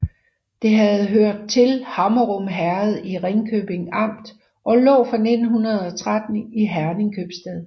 Det havde hørt til Hammerum Herred i Ringkøbing Amt og lå fra 1913 i Herning Købstad